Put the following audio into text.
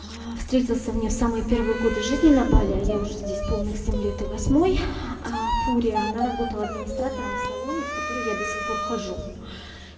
встретился мне в самые первые годы жизни на бали а я уже здесь полных семь лет и восьмой апуре она работала администратором в салоне в который я до сих пор хожу